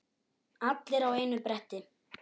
Allir á einu bretti.